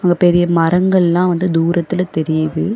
இங்க பெரிய மரங்கள் எல்லாம் தூரத்தில தெரிது.